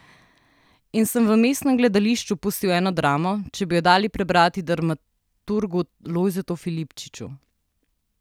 In sem v mestnem gledališču pustil eno dramo, če bi jo dali prebrati dramaturgu Lojzetu Filipčiču.